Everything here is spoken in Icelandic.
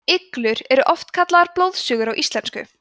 iglur eru oft kallaðar blóðsugur á íslensku